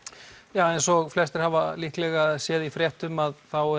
ja eins og flestir hafa líklega séð í fréttum að þá